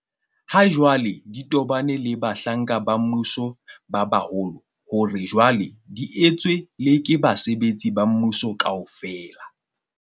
ha jwale di tobaneng le bahlanka ba mmuso ba baholo hore jwale di etswe le ke basebetsi ba mmuso kaofela.